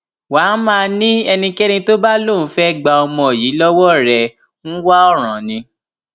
wà á máa ní ẹnikẹni tó bá lóun fẹẹ gba ọmọ yìí lọwọ rẹ ń wá ọràn ni